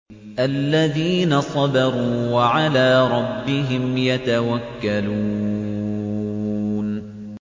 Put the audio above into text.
الَّذِينَ صَبَرُوا وَعَلَىٰ رَبِّهِمْ يَتَوَكَّلُونَ